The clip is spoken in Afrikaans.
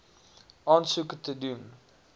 aansoek te doen